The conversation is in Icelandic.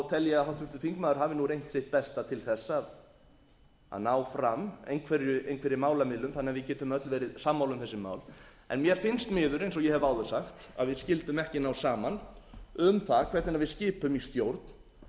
háttvirtur þingmaður hafi nú reynt sitt besta til þess að ná fram einhverri málamiðlun þannig að við getum öll verið sammála um þessi mál en mér finnst miður eins og ég hef áður sagt að við skyldum ekki ná saman um það hvernig við skipum í stjórn